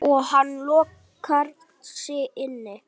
Og hann lokar sig inni.